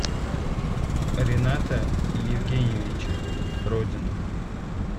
рината евгеньевича родина